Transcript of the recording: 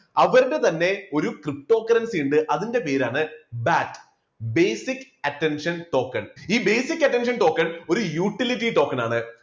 അവരുടെ തന്നെ ഒരു ptocurrency ഉണ്ട് അതിൻറെ പേരാണ് BAT, basic attention token ഈ basic attention token ഒരു utility token ആണ്